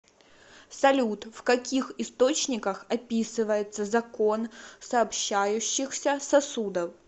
салют в каких источниках описывается закон сообщающихся сосудов